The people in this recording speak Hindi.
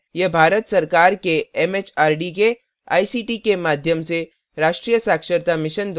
यह भारत सरकार के एमएचआरडी के आईसीटी के माध्यम से राष्ट्रीय साक्षरता mission द्वारा समर्थित है